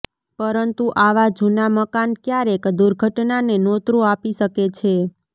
પરંતુ આવા જુના મકાન ક્યારેક દુર્ઘટનાને નોતરૂ આપી શકે છે